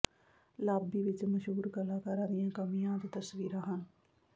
lobby ਵਿਚ ਮਸ਼ਹੂਰ ਕਲਾਕਾਰਾਂ ਦੀਆਂ ਕਮੀਆਂ ਅਤੇ ਤਸਵੀਰਾਂ ਹਨ